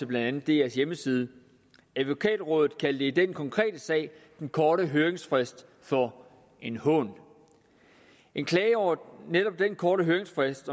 blandt andet drs hjemmeside advokatrådet kaldte i den konkrete sag den korte høringsfrist for en hån en klage over netop den korte høringsfrist